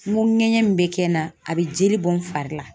N ko ŋɛɲɛ mun be kɛ n na, a be jeli bɔ n fari la.